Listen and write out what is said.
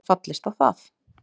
Var fallist á það